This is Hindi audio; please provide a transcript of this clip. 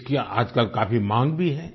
इसकी आजकल काफी माँग भी है